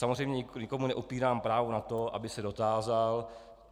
Samozřejmě nikomu neupírám právo na to, aby se dotázal.